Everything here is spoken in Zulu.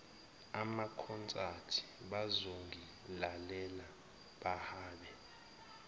amakhonsathi bazongilalela bahlabe